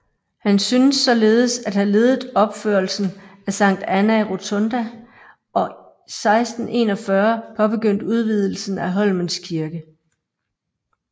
Han synes således at have ledet opførelsen af Sankt Anna Rotunda og 1641 påbegyndt udvidelsen af Holmens Kirke